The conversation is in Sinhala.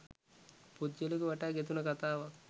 පුද්ගලයෙකු වටා ගෙතුන කතාවක්